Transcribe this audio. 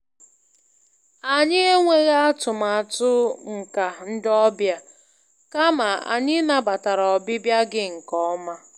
Anyị enweghị atụmatụ mkà ndị ọbịa, kama anyị nabatara ọbịbịa gị nke ọma.